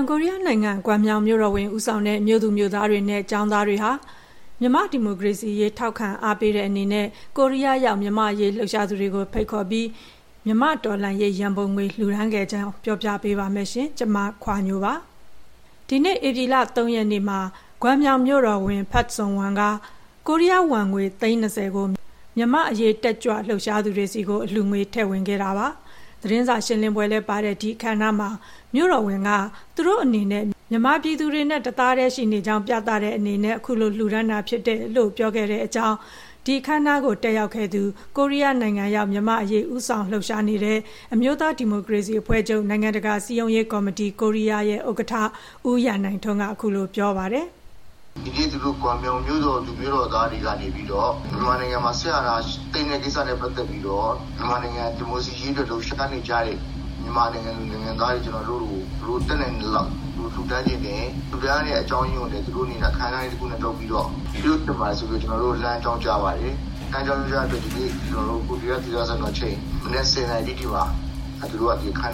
င်ကိုရီးယားနိုင်ငံ၊ ဂွမ်မြောင်မြို့တော်ဝန် ဦးဆောင်တဲ့ မြို့သူမြို့သားတွေနဲ့ ကျောင်းသားတွေဟာ မြန်မာ့ဒီမိုကရေစီရေး ထောက်ခံအားပေးတဲ့အနေနဲ့ ကိုရီးယားရောက် မြန်မာ့အရေး လှုပ်ရှားသူတွေကို ဖိတ်ခေါ်ပြီး တော်လှန်ရေးရန်ပုံငွေ လှူဒါန်းခဲ့ပါတယ်။ အပြည့်အစုံကို မခွါညို တင်ပြပေးထားပါတယ်။ ဒီနေ့ ဧပြီလ ၃ ရက်မှာ ဂွမ်မြောင်မြို့တော်ဝန် ဖတ်ဆုန်ဝမ်က ကိုရီးယားဝမ်ငွေ သိန်း ၂၀ ကို မြန်မာ့အရေး တက်ကြွလှုပ်ရှားသူတွေဆီကို အလှူငွေ ထည့်ဝင်ပါတယ်။ သတင်းစာရှင်းလင်းပွဲလည်းပါတဲ့ ဒီအခမ်းအနားမှာ မြို့တော်ဝန်က သူတို့အနေနဲ့ မြန်မာပြည်သူတွေနဲ့ တသားတည်းရှိနေကြောင်း ပြောပြခဲ့တယ်လို့ အခမ်းအနား တက်ရောက်ခဲ့သူ တောင်ကိုရီးယားနိုင်ငံရောက် မြန်မာ့အရေး ဦးဆောင်လှုပ်ရှားနေတဲ့ အမျိုးသားဒီမိုကရေစီအဖွဲ့ချုပ်၊ နိုင်ငံတကာ စည်းရုံးရေးကော်မတီ ရဲ့ ဥက္ကဋ္ဌ ဦးရန်နိုင်ထွန်းက အခုလို ပြောပြပါတယ်။ “ဒီနေ့ သူတို့ ဂွမ်မြောင်မြို့တော်သူ မြို့တော်သားတွေကနေပြီးတော့ မြန်မာနိုင်ငံမှာ စစ်အာဏာသိမ်းတဲ့ကိစ္စနဲ့ ပတ်သက်ပြီးတော့ မြန်မာနိုင်ငံ ဒီမိုကရေစီရေးအတွက် လှုပ်ရှားနေကြတဲ့ မြန်မာနိုင်ငံသူ နိုင်ငံသားတွေ ကျနော်တို့ကို တတ်နိုင်သလောက် သူတို့ လှူဒါန်းချင်တယ်၊ လှူဒါန်းရတဲ့ အကြောင်းရင်းကိုလည်း သူတို့အနေနဲ့ အခမ်းအနားကြီးတခုနဲ့ လုပ်ချင်ပါတယ်ဆိုပြီးတော့ ကျနော်တို့ကို လှမ်းအကြောင်းကြားလာပါတယ်။ လှမ်းအကြောင်းကြားတဲ့အတွက် ကျနော်တို့ ဒီနေ့မနက် ၁၀ နာရီတိတိမှာ အခမ်းအ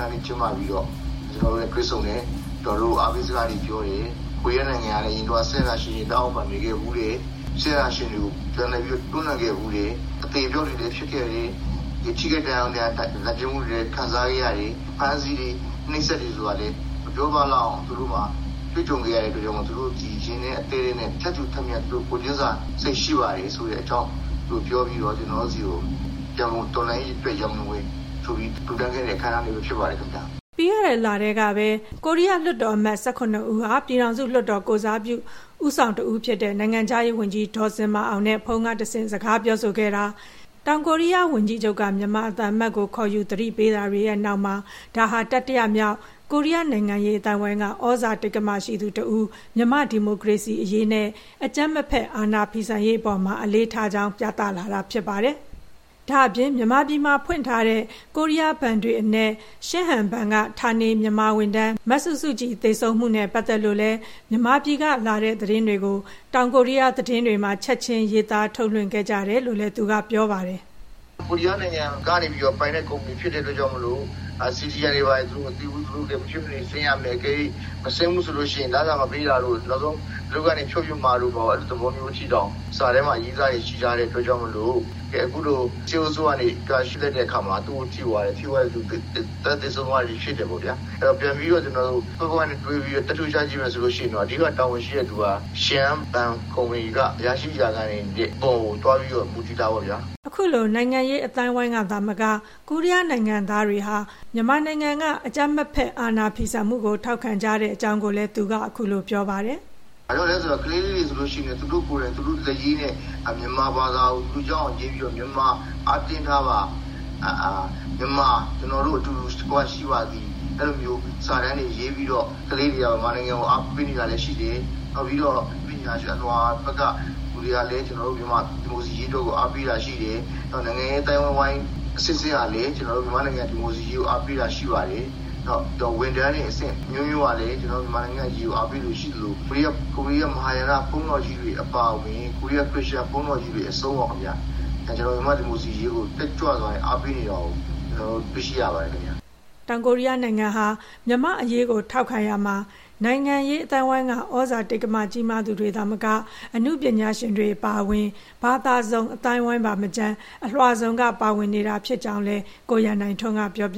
နားလေး ကျင်းပပြီးတော့ ကျနော်တို့နဲ့ တွေ့ဆုံတယ်၊ အားပေးစကားပြောတယ်၊ ကိုရီးယားနိုင်ငံက အရင်တုန်းက စစ်အာဏာရှင် လက်အောက်မှာ နေခဲ့ဖူးတယ်၊ စစ်အာဏာရှင်တွေကို ပြန်တွန်းလှန်ခဲ့ဖူးတယ်၊ အသေအပျောက်တွေလည်း ဖြစ်ခဲ့တယ်၊ ထိခိုက်ဒဏ်ရာရ နာကျင်မှုတွေလည်း ခံစားခဲ့ရတယ်၊ အဖမ်းအဆီးတွေ နှိပ်စက်တာတွေဆိုတာလည်း မပြောပြလောက်အောင် တွေ့ကြုံခဲ့ရတဲ့အတွက် သူတို့ ရင်ထဲအသည်းထဲက ထပ်တူ ကိုယ်ချင်းစာစိတ် ရှိပါတယ်ဆိုတဲ့အကြောင်း ပြောပြီးတော့ ကျနော်တို့ဆီကို တော်လှန်ရေးအတွက် ရန်ပုံငွေဆိုပြီး လှူဒါန်းခဲ့တဲ့ အခမ်းအနားလေးပဲ ဖြစ်ပါတယ်။” ပြီးခဲ့တဲ့လတည်းကပဲ ကိုရီးယားလွှတ်တော်အမတ် ၁၇ ဦးက ပြည်ထောင်စုလွှတ်တော် ကိုယ်စားပြုကော်မတီ ဦးဆောင်သူတယောက်ဖြစ်တဲ့ နိုင်ငံခြားရေးဝန်ကြီး ဒေါ်ဇင်မာအောင်နဲ့ ဖုန်းကတဆင့် စကားပြောဆိုခဲ့တာ၊ တောင်ကိုရီးယား ဝန်ကြီးချုပ်က မြန်မာသံအမတ်ကို ခေါ်ယူသတိပေးတာတွေရဲ့ နောက်မှာ ဒါဟာ တတိယမြောက် ကိုရီးယား နိုင်ငံရေးအသိုင်းအဝိုင်းက သြဇာတိက္ကမရှိသူတဦးက မြန်မာ့ဒီမိုကရေစီရေးနဲ့ အကြမ်းမဖက် အာဏာဖီဆန်ရေးအပေါ်မှာ အလေးထားကြောင်း ပြသလာတာ ဖြစ်ပါတယ်။ ဒါ့အပြင် မြန်မာပြည်မှာဖွင့်ထားတဲ့ ကိုရီးယားဘဏ်တွေအနက် ရှင်းဟန်ဘဏ်က ဌာနေ မြန်မာဝန်ထမ်း မစုစုကြည် သေဆုံးမှုနဲ့ ပတ်သက်လို့လည်း မြန်မာပြည်ကလာတဲ့ သတင်းတွေကို တောင်ကိုရီးယား သတင်းတွေမှာ ချက်ချင်း ရေးသားထုတ်လွှင့်ခဲ့ကြတယ်လို့လည်း သူက ပြောပါတယ်။ “ကိုရီးယားနိုင်ငံကပိုင်တဲ့ ကုမ္ပဏီဖြစ်တဲ့အတွက် CDM တွေဘာတွေ သူတို့မသိဘူး၊ သူတို့လည်း မဖြစ်မနေဆင်းရမယ်၊ အကယ်၍ မဆင်းဘူးဆိုရင် လစာမပေးတာတို့ နောက်ဆုံး အလုပ်ကနေ ဖြုတ်ပစ်မှာတို့ အဲလိုသဘောမျိုးအထိတောင် စာထဲမှာ ရေးထားတာ ရှိထားတဲ့အတွက်ကြောင့်မို့ အခုလို စစ်အုပ်စုကနေ ရှင်းလိုက်တဲ့အခါမှာ သူ့ကို ထိသွားတယ်။ ထိသွားပြီး တန်းသေဆုံးသွားတဲ့အထိ ဖြစ်တယ်ပေါ့ဗျာ။ အဲဒီတော့ ပြန်ပြီးတော့ သတ္တုချကြည့်မယ်ဆိုရင် အဓိကတာဝန်ရှိတဲ့သူက ရှင်းဟန်ဘဏ်ကုမ္ပဏီက အရာရှိ အရာခံတွေအပေါ်ကို သွားပြီးတော့ ယူတာပေါ့ဗျာ။” အခုလို နိုင်ငံရေးအသိုင်းအဝိုင်းကသာမက ကိုရီးယားနိုင်ငံသားတွေဟာ မြန်မာနိုင်ငံက အကြမ်းမဖက် အာဏာဖီဆန်မှုကို ထောက်ခံကြပုံကိုလည်း သူက အခုလို ပြောပါတယ်။ “ဘာကြောင့်လဲဆို ကလေးလေးတွေ ဆိုရင်လည်း သူတို့ကိုယ်တိုင် သူတို့လက်ရေးနဲ့ မြန်မာဘာသာကို သူတို့ ရအောင်ရေးပြီးတော့ မြန်မာ အားတင်းထားပါ၊ မြန်မာ ကျေနာ်တို့ အတူတကွ ရှိပါသည်၊ အဲလိုမျိုး စာတန်းတွေ ရေးပြီးတော့ ကလေးတွေက မြန်မာနိုင်ငံကို အားပေးနေတာလည်း ရှိတယ်။ ပြီးတော့ အနုပညာရှင်အလွှာဘက်က လူတွေကလည်း ကျနော်တို့ မြန်မာ့ဒီမိုကရေစီရေးအတွက် အားပေးတာရှိတယ်။ နောက် နိုင်ငံရေးအသိုင်းအဝိုင်း အဆင့်ဆင့်ကလည်း ကျနော်တို့ မြန်မာ့ဒီမိုကရေစီရေးကို အားပေးတာ ရှိပါတယ်။ ဝန်ထမ်းတွေ အဆင့်အမျိုးမျိုးကလည်း ကျနော်တို့ မြန်မာ့အရေးကို အားပေးသူရှိသလို ကိုရီးယား မဟာယာန ဘုန်းတော်ကြီးတွေ အပါအဝင် ကိုရီးယား ခရစ်ယာန်ဘုန်းတော်ကြီးတွေအဆုံး ကျနော်တို့ မြန်မာ့ဒီမိုကရေစီရေးကို တက်ကြွစွာနဲ့ အားပေးနေတာ တွေ့ရပါတယ်ခင်ဗျ။” ကိုရီးယားနိုင်ငံဟာ မြန်မာ့အရေးကို ထောက်ခံရာမှာ နိုင်ငံရေးအသိုင်းအဝိုင်းက သြဇာကြီးမားသူတွေသာမက အနုပညာရှင်တွေ အပါအဝင် ဘာသာစုံ အသိုင်းအဝိုင်းပါမကျန် အလွှာစုံက ပါဝင်နေတာဖြစ်ကြောင်းလည်း ကိုရန်နိုင်ထွန်းက ပြောပ